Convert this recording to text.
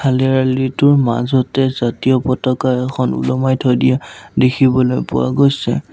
মাজতে জাতীয় পতকা এখন ওলোমাই থৈ দিয়া দেখিবলৈ পোৱা গৈছে।